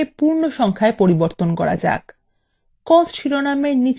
coast শিরোনামের নিচের কলামে কয়েকটি পরিবর্তন করা যাক